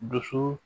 Dusu